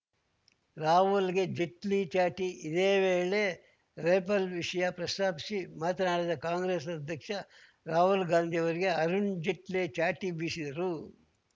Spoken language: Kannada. ರಾಹುಲ್‌ಗೆ ಜೇಟ್ಲಿ ಚಾಟಿ ಇದೇ ವೇಳೆ ರೆಫೇಲ್‌ ವಿಷಯ ಪ್ರಸ್ತಾಪಿಸಿ ಮಾತನಾಡಿದ ಕಾಂಗ್ರೆಸ್‌ ಅಧ್ಯಕ್ಷ ರಾಹುಲ್‌ ಗಾಂಧಿ ಅವರಿಗೆ ಅರುಣ್‌ ಜೇಟ್ಲಿ ಚಾಟಿ ಬೀಸಿದರು